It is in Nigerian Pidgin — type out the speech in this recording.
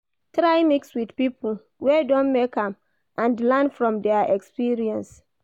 Try mix with pipo wey don make am and learn from their experience